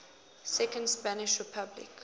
second spanish republic